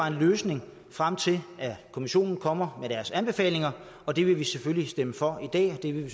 en løsning frem til kommissionen kommer med deres anbefalinger og det vil vi selvfølgelig stemme for i dag og det vil vi